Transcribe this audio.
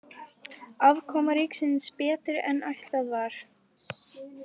Afkoma ríkisins betri en áætlað var